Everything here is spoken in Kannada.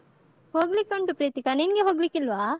ಹೋಗ್ಲಿಕ್ಕುಂಟು ಪ್ರೀತಿಕಾ ನಿನ್ಗೆ ಹೋಗ್ಲಿಕ್ಕಿಲ್ವಾ?